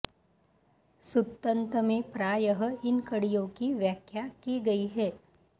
सुत्तन्त में प्रायः इन कडि़यों की व्याख्या की गई है